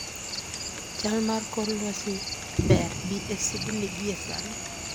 chal mar kor lwasi ber bi e sydney gie sani